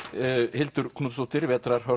Hildur Knútsdóttir